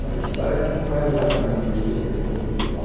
Mas parece que não era exatamente esse a questão principal.